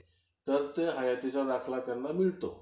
तर ते हयातीचा दाखला त्यांना मिळतो.